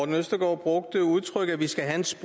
jeg går